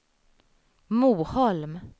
Moholm